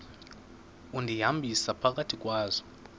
undihambisa phakathi kwazo